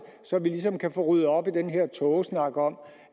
så vi ligesom kan få ryddet op i den her tågesnak om